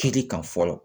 Kɛli kan fɔlɔ